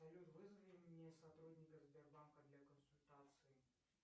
салют вызови мне сотрудника сбербанка для консультации